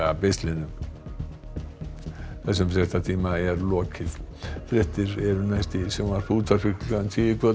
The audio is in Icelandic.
beislinu þessum fréttatíma er lokið fréttir eru næst í sjónvarpi og útvarpi klukkan tíu í kvöld